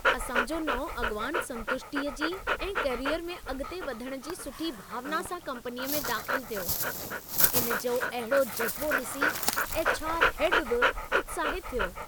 असां जो नओं अॻिवान संतुष्टीअ जी ऐं कैरियर में अॻिते वधण जी सुठी भावना सां कम्पनीअ में दाख़िल थियो। इन जो अहिड़ो जज़्बो ॾिसी एच.आर. हैड बि उत्साहितु थियो।